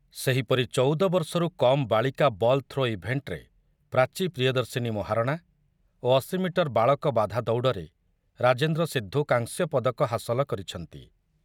ସେହିପରି ଚଉଦ ବର୍ଷରୁ କମ୍ ବାଳିକା ବଲ୍ ଥ୍ରୋ ଇଭେଣ୍ଟରେ ପ୍ରାଚୀ ପ୍ରିୟଦର୍ଶିନୀ ମହାରଣା ଓ ଅଶି ମିଟର ବାଳକ ବାଧା ଦୌଡ଼ରେ ରାଜେନ୍ଦ୍ର ସିଦ୍ଧୁ କାଂସ୍ୟ ପଦକ ହାସଲ କରିଛନ୍ତି।